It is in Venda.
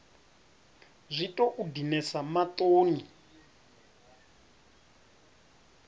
a zwi tou dinesa maṱoni